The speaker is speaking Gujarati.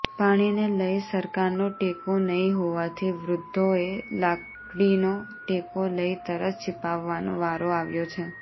પાણીને લઈ સરકારનો ટેકો નહીં હોવાથી વૃદ્ધોએ લાકડીનો ટેકો લઈ તરસ છિપાવવાનો વારો આવ્યો છે